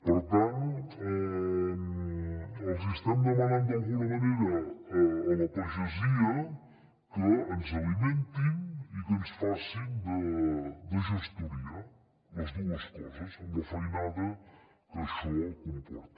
per tant els hi estem demanant d’alguna manera a la pagesia que ens alimentin i que ens facin de gestoria les dues coses amb la feinada que això comporta